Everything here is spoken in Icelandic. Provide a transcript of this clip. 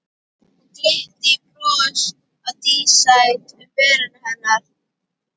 Og glittir í bros á dísæt um vörum hennar.